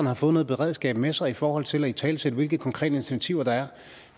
har fået noget beredskab med sig i forhold til at italesætte hvilke konkrete initiativer der er